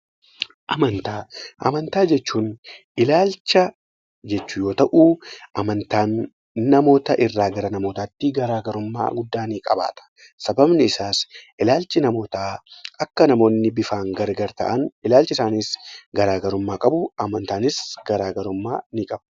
Amantaa jechuun ilaalcha yoo ta'u, amantaan namoota irraa namootaatti garaagarummaa guddaa ni qabaata. Sababbiin isaa akkuma namoonni bifaan gargar ta'an, ilaalchi isaaniis garaagarummaa qabu, amantaanis garaagarummaa ni qabu.